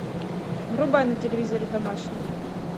врубай на телевизоре домашний